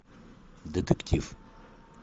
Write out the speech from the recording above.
детектив